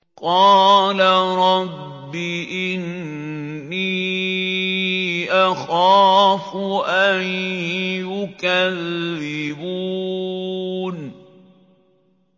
قَالَ رَبِّ إِنِّي أَخَافُ أَن يُكَذِّبُونِ